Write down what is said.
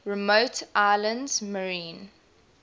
remote islands marine